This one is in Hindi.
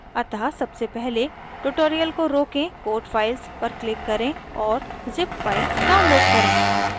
* अतः सबसे पहले tutorial को रोकें code files पर click करें और zip files download करें